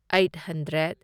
eight hundred